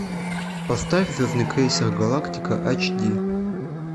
поставь звездный крейсер галактика ач ди